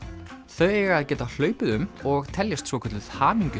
þau eiga að geta hlaupið um og teljast svokölluð